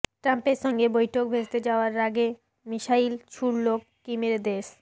ট্রাম্পের সঙ্গে বৈঠক ভেস্তে যাওয়ার রাগে মিসাইল ছুড়ল কিমের দেশ